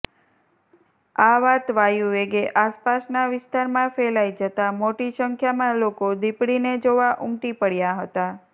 આ વાત વાયુવેગે આસપાસના વિસ્તારમાં ફેલાઈ જતા મોટી સંખ્યામાં લોકો દીપડીને જોવા ઊમટી પડયા હતા